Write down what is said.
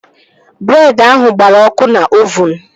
Breed ahụ gbara ọkụ n'ovuun